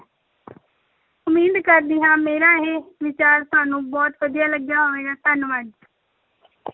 ਉਮੀਦ ਕਰਦੀ ਹਾਂ ਮੇਰਾ ਇਹ ਵਿਚਾਰ ਤੁਹਾਨੂੰ ਬਹੁਤ ਵਧੀਆ ਲੱਗਿਆ ਹੋਵੇਗਾ, ਧੰਨਵਾਦ।